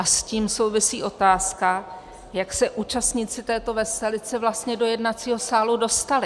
A s tím souvisí otázka, jak se účastníci této veselice vlastně do jednacího sálu dostali.